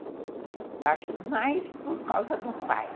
Eu acho que mais por causa do pai.